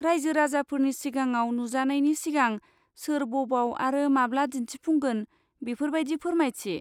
रायजो राजाफोरनि सिगाङाव नुजानायनि सिगां सोर बबाव आरो माब्ला दिन्थिफुंगोन बेफोर बायदि फोरमायथि।